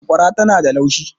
sakwara tana da laushi